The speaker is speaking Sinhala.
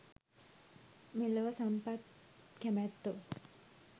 මෙලොව සම්පත් කැමැත්තෝ